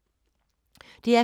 DR P2